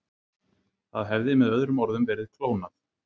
Það hafði með öðrum orðum verið klónað.